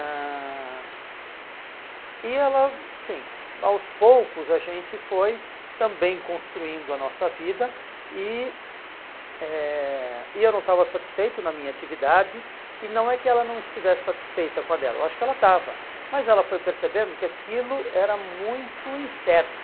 ãh E ela, sim, aos poucos a gente foi também construindo a nossa vida e eh e eu não estava satisfeito na minha atividade e não é que ela não estivesse satisfeita com a dela, eu acho que ela estava, mas ela foi percebendo que aquilo era muito incerto.